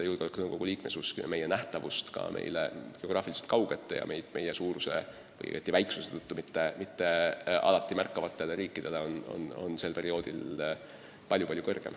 Julgeolekunõukogu liikmesus muudab meid nähtavamaks ka geograafiliselt kaugetele ja meie väiksuse tõttu meid mitte alati märkavatele riikidele.